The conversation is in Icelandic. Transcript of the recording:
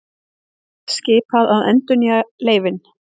Skipað að endurnýja leyfin